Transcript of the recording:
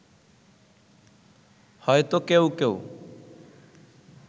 হয়তো কেউ কেউ